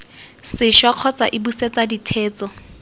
sešwa kgotsa iii busetsa ditheetso